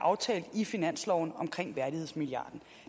aftalt i finansloven omkring værdighedsmilliarden